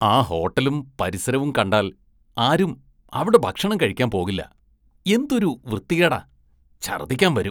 ആ ഹോട്ടലും പരിസരവും കണ്ടാല്‍ ആരും അവിടെ ഭക്ഷണം കഴിക്കാന്‍ പോകില്ല, എന്തൊരു വൃത്തികേടാ, ഛര്‍ദ്ദിക്കാന്‍ വരും.